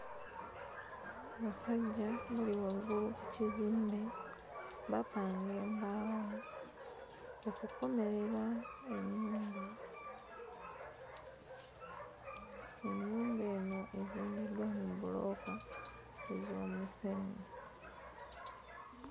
Abasajja bali waggulu ku kizimbe bapanga embaawo okukomerera ennyumba, ennyumba eno ezimbiddwa mu bbulooka ez'omusenyu.